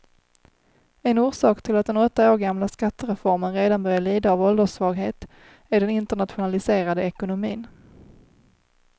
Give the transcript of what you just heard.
En orsak till att den åtta år gamla skattereformen redan börjar lida av ålderssvaghet är den internationaliserade ekonomin.